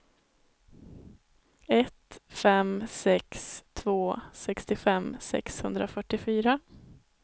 ett fem sex två sextiofem sexhundrafyrtiofyra